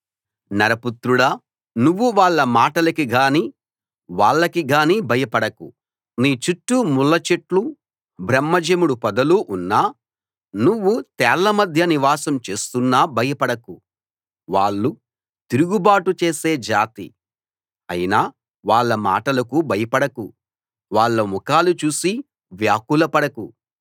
నరపుత్రుడా నువ్వు వాళ్ళ మాటలకి గానీ వాళ్లకి గానీ భయపడకు నీ చుట్టూ ముళ్ళ చెట్లూ బ్రహ్మజెముడు పొదలూ ఉన్నా నువ్వు తేళ్ళ మధ్య నివాసం చేస్తున్నా భయపడకు వాళ్ళు తిరుగుబాటు చేసే జాతి అయినా వాళ్ళ మాటలకు భయపడకు వాళ్ళ ముఖాలు చూసి వ్యాకుల పడకు